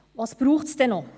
Was braucht es denn noch?